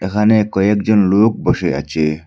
এখানে কয়েকজন লোক বসে আছে।